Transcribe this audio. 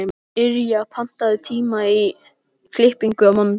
Yrja, pantaðu tíma í klippingu á mánudaginn.